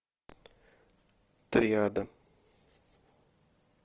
триада